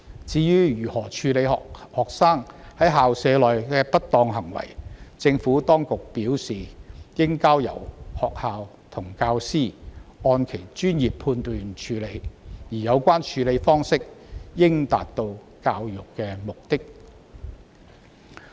至於如何處理學生在校舍內的不當行為，政府當局表示，應交由學校和教師按其專業判斷處理，而有關處理方式應達到教育的目的。